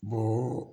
Bo